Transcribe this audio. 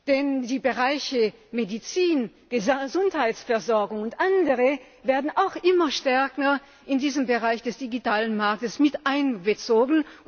Denn Bereiche wie Medizin, Gesundheitsversorgung und andere werden auch immer stärker in diesen Bereich des digitalen Marktes mit einbezogen.